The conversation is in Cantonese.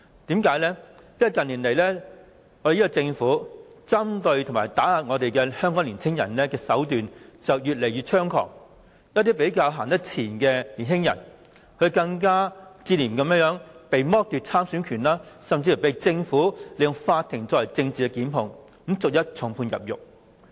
因為，近年政府針對和打壓香港年青人的手段越來越猖狂，一些走得較前的年青人更接連被剝奪了參選的政治權利，政府甚至利用法庭作政治檢控，把他們逐一重判入獄。